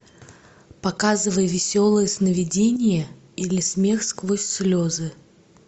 показывай веселые сновидения или смех сквозь слезы